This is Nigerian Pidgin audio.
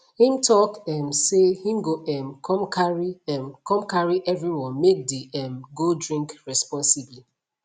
him talk um say him go um come carry um come carry everyone make the um go drink responsibly